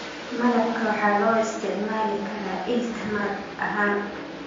Malabka waxaa loo isticmaali karaa il tamar ahaan.